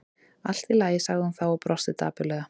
Allt í lagi- sagði hún þá og brosti dapurlega.